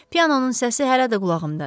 Pianonun səsi hələ də qulağımdadır.